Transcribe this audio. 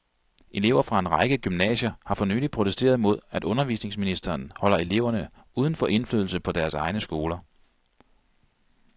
Elever fra en række gymnasier har for nylig protesteret mod, at undervisningsministeren holder eleverne uden for indflydelse på deres egne skoler.